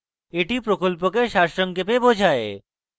এটি প্রকল্পকে সারসংক্ষেপে বোঝায়